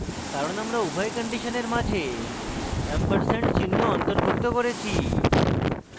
কারণ আমরা উভয় কন্ডিশনের মাঝে & চিহ্ন অন্তর্ভুক্ত করেছি